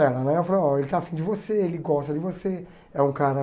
Ela né, eu falei, oh ele está afim de você, ele gosta de você, é um cara...